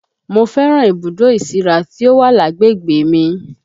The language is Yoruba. Mo fẹ́ràn ibùdó ìsíra tí ó wà lágbègbè mi